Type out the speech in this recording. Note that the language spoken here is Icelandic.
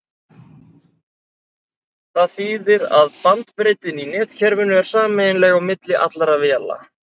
það þýðir að bandbreiddin í netkerfinu er sameiginleg á milli allra véla